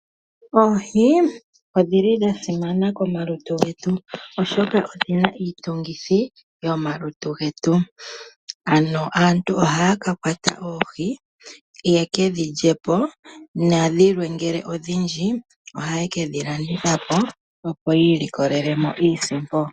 Oohi odha simana komalutu getu, oshoka odhi na iitungithi yomalutu getu. Aantu ohaya ka kwata oohi ye ke dhi lye po nongele odhindji dhimwe ohaye ke dhi landitha po, opo yi ilikolele mo iisimpo.